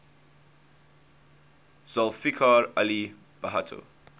zulfikar ali bhutto